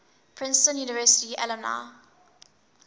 princeton university alumni